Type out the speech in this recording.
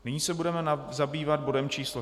Nyní se budeme zabývat bodem číslo